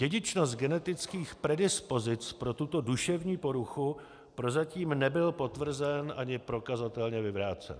Dědičnost genetických predispozic pro tuto duševní poruchu prozatím nebyla potvrzena ani prokazatelně vyvrácena.